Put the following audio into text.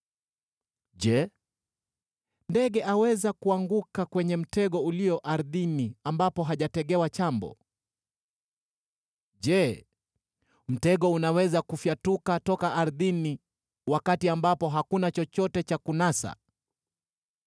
Je, ndege aweza kuanguka kwenye mtego ulio ardhini ambapo hajategewa chambo? Je, mtego unaweza kufyatuka toka ardhini wakati ambapo hakuna chochote cha kunasa?